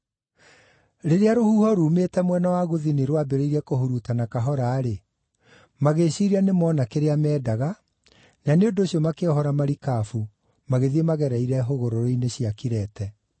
Rĩrĩa rũhuho rumĩte mwena wa gũthini rwambĩrĩirie kũhurutana kahora-rĩ, magĩĩciiria nĩmona kĩrĩa mendaga, na nĩ ũndũ ũcio makĩohora marikabu magĩthiĩ magereire hũgũrũrũ-inĩ cia Kirete.